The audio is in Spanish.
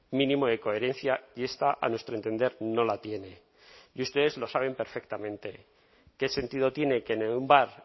mínimo de coherencia y esta a nuestro entender no la tiene y ustedes lo saben perfectamente qué sentido tiene que en un bar